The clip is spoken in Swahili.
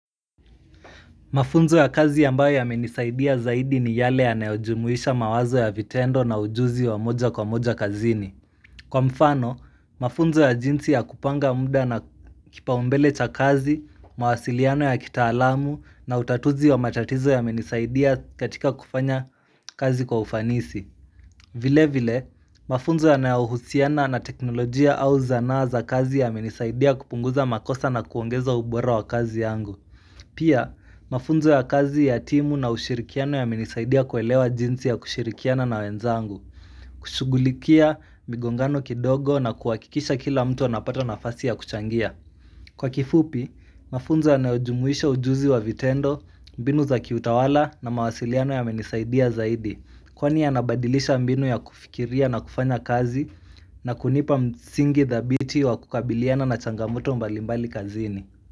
Mafunzo ya kazi ambayo yamenisaidia zaidi ni yale yanayo jumuhisha mawazo ya vitendo na ujuzi wa moja kwa moja kazini. Kwa mfano, mafunzo ya jinsi ya kupanga muda na kipaumbele cha kazi, mawasiliano ya kitaalamu na utatuzi wa matatizo yamenisaidia katika kufanya kazi kwa ufanisi. Vile vile, mafunzo yanayo husiana na teknolojia au zanaa za kazi yamenisaidia kupunguza makosa na kuongeza ubora wa kazi yangu. Pia, mafunzo ya kazi ya timu na ushirikiano ya menisaidia kuelewa jinsi ya kushirikiana na wenzangu kushugulikia migongano kidogo na kuwakikisha kila mtu anapata nafasi ya kuchangia Kwa kifupi, mafunzo anayojumuisha ujuzi wa vitendo, mbinu za kiutawala na mawasiliano yamenisaidia zaidi Kwani yanabadilisha mbinu ya kufikiria na kufanya kazi na kunipa msingi dhabiti wa kukabiliana na changamoto mbalimbali kazini.